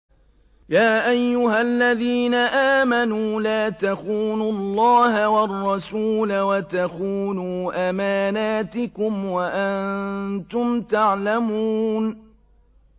يَا أَيُّهَا الَّذِينَ آمَنُوا لَا تَخُونُوا اللَّهَ وَالرَّسُولَ وَتَخُونُوا أَمَانَاتِكُمْ وَأَنتُمْ تَعْلَمُونَ